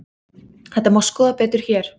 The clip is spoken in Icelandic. Þetta má skoða betur hér.